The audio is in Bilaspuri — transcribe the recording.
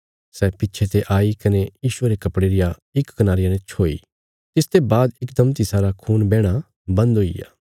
सै पिच्छे ते आई कने यीशुये रे कपड़े रिया इक कनारिया ने छोई तिसते बाद इकदम तिसारा खून बैहणा बंद हुईग्या